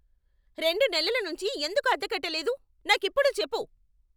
రెండు నెలల నుంచీ ఎందుకు అద్దె కట్టలేదు? నాకిప్పుడే చెప్పు.